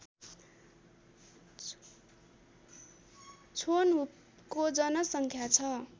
छोन्हुपको जनसङ्ख्या छ